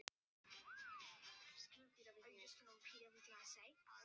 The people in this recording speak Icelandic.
Í fyrsta skipti sem við drukkum, drukkum við saman.